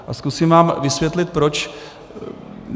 A zkusím vám vysvětlit proč.